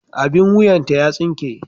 Abin wuyanta ya tsinke.